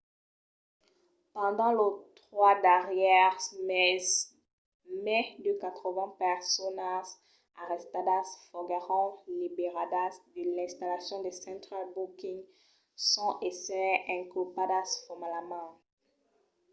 pendent los 3 darrièrs meses mai de 80 personas arrestadas foguèron liberadas de l'installacion de central booking sens èsser inculpadas formalament